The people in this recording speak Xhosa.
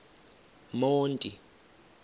monti